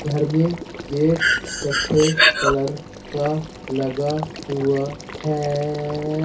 घर में गेट कत्थे कलर का लगा हुआ हैं।